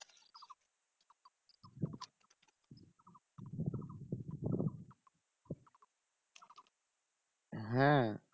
হ্যাঁ